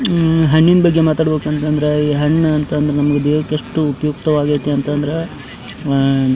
ಹಮ್ಮ್ ಹಣ್ಣಿನ ಬಗ್ಗೆ ಮಾತಾಡ್ಬೇಕು ಅಂತಂದ್ರೆ ಈ ಹಣ್ಣು ಅಂತಂದ್ರ ನಮಗೆ ದೇಹಕ್ಕೆ ಎಷ್ಟು ಉಪಯುಕ್ತ ವಾಗೈತಿ ಅಂದ್ರೆ ಆಹ್ಹ್--